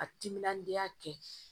A timinandiya kɛ